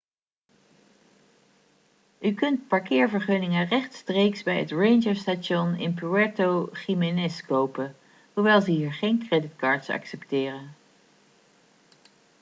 u kunt parkeervergunningen rechtstreeks bij het ranger station in puerto jiménez kopen hoewel ze hier geen creditcards accepteren